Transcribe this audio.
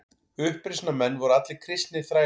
Uppreisnarmenn voru allir kristnir þrælar.